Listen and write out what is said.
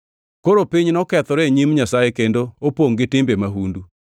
Koro piny nokethore e nyim Nyasaye kendo opongʼ gi timbe mahundu.